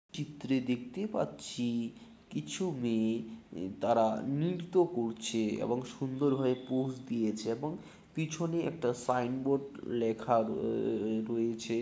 চিত্রে দেখতে পাচ্ছি কিছু মেয়ে উ তারা নিরতো করছে এবং সুন্দর ভাবে পোজ দিয়েছে এবং পিছনে একটা সাইনবোর্ড লেখা র-র-অ-অ-রয়েছে।